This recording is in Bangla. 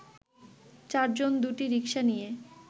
চারজন দুটি রিক্সা নিয়ে